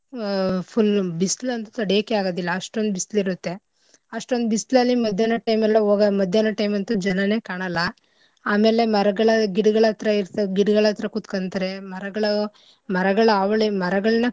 ಆ full ಉ ಬಿಸ್ಲಂತೂ ತಡಿಯಕ್ಕೆ ಆಗದಿಲ್ಲ ಅಷ್ಟೊಂದ್ ಬಿಸ್ಲಿರುತ್ತೆ. ಅಷ್ಟೊಂದ್ ಬಿಸ್ಲಿಲ್ಲಿ ಮಧ್ಯಾನ time ಅಲ್ ಹೋಗ ಮಧ್ಯಾನ time ಅಂತೂ ಜನನೆ ಕಾಣಲ್ಲ ಆಮೇಲೆ ಮರಗಳ ಗಿಡಗಳ್ಹತ್ರ ಇರ್~ ಗಿಡಗಳ್ಹತ್ರ ಕುತ್ಕಂತರೆ ಮರಗಳು ಮರಗಳ ಹಾವಳಿ ಮರಗಳ್ನ.